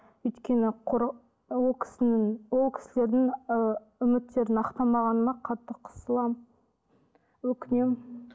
өйткені ол кісінің ол кісілердің і үміттерін ақтамағыныма қатты қысыламын өкінемін